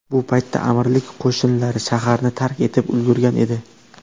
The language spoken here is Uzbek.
Bu paytda amirlik qo‘shinlari shaharni tark etib ulgurgan edi.